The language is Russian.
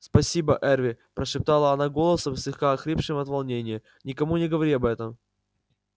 спасибо эрби прошептала она голосом слегка охрипшим от волнения никому не говори об этом